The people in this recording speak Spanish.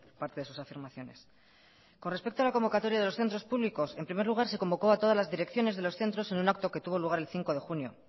parte de sus afirmaciones con respecto a la convocatoria de los centros públicos en primer lugar se convocó a todas las direcciones de los centros en un acto que tuvo lugar el cinco de junio